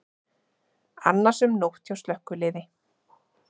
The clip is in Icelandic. Annasöm nótt hjá slökkviliði